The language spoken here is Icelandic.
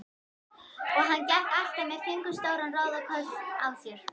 Og hann gekk alltaf með fingur stóran róðukross á sér.